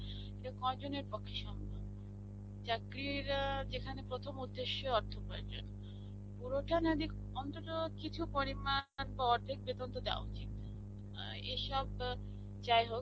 এ কয়জনের পক্ষ্যে সম্ভব? চাকরীর আ যেখানে প্রথম উদ্যেশ্য অর্থ উপার্জন. পুরোটা না দিক অন্তত কিছু পরিমান বা অর্ধেক বেতন তো দেওয়া উচিত. এ এসব ব যাইহোক